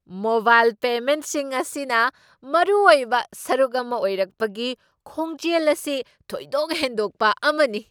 Mobile ꯄꯦꯃꯦꯟꯠꯁꯤꯡ ꯑꯁꯤꯅ ꯃꯔꯨꯑꯣꯏꯕ ꯁꯔꯨꯛ ꯑꯃ ꯑꯣꯏꯔꯛꯄꯒꯤ ꯈꯣꯡꯖꯦꯜ ꯑꯁꯤ ꯊꯣꯏꯗꯣꯛ ꯍꯦꯟꯗꯣꯛꯄ ꯑꯃꯅꯤ ꯫